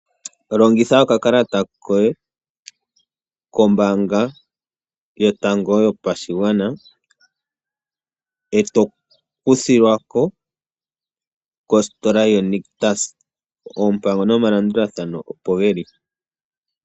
Longitha okakalata koye kombaanga yotango yopashigwana eto kuthilwa ko kostola yo Nictus. Oompango nomalandulathano opo geli.